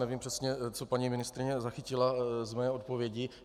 Nevím přesně, co paní ministryně zachytila z mé odpovědi.